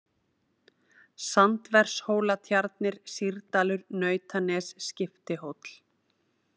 Sandvershólatjarnir, Sýrdalur, Nautanes, Skiptihóll